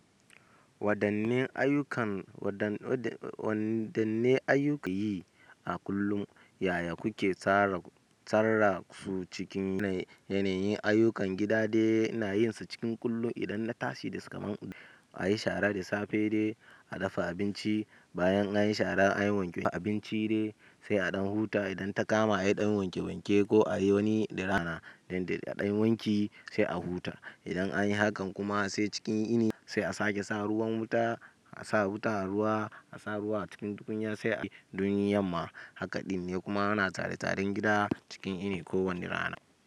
Waɗanne ayyukan, waɗanne ayyuka kiyi a kullum? Yaya kuke tsara, tsara su cikin yanayin ayyukan gida da ina yin su cikin kullum idan na tashi daga zaman gado. Anyi shara da safe dai, a dafa abinci, bayan anyi shara anyi wanke abinci dai, sai a ɗan huta idan ta kama anyi ɗan wanke wanke ko a yi wani ɗana, dande a ɗan wanki sai a huta. Idan anyi hakan kuma sai cikin ini sai a sake sa ruwan wuta, a sa wuta a ruwa, a sa ruwa a cikin tukunya sai a yi duniyar ma. Hakan dine kuma ana tare taren gida cikin yini ko wani rana.